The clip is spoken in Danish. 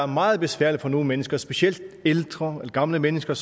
meget besværligt for nogle mennesker specielt ældre og gamle mennesker